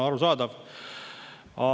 Arusaadav!